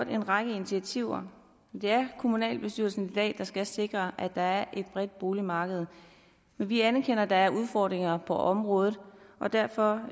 en række initiativer det er kommunalbestyrelsen i dag der skal sikre at der er et bredt boligmarked men vi anerkender at der er udfordringer på området og derfor